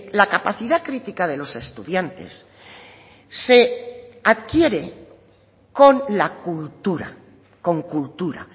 la capacidad crítica de los estudiantes se adquiere con la cultura con cultura